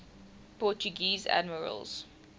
portuguese admirals